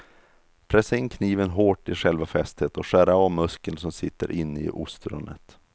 Pressa in kniven hårt i själva fästet och skär av muskeln som sitter inne i ostronet.